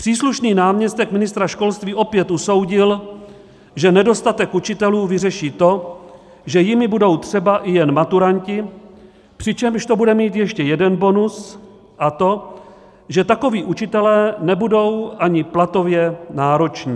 Příslušný náměstek ministra školství opět usoudil, že nedostatek učitelů vyřeší to, že jimi budou třeba i jen maturanti, přičemž to bude mít ještě jeden bonus, a to, že takoví učitelé nebudou ani platově nároční.